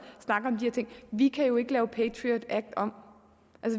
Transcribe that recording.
vi kan jo ikke lave patriot act om